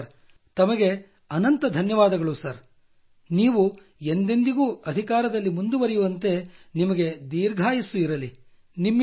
ಹೌದು ಸರ್ ತಮಗೆ ಅನಂತ ಧನ್ಯವಾದಗಳು ಸರ್ ನೀವು ಎಂದೆಂದಿಗೂ ಅಧಿಕಾರದಲ್ಲಿ ಮುಂದುವರಿಯುವಂತೆ ನಿಮಗೆ ದೀರ್ಘಾಯಸ್ಸು ಇರಲಿ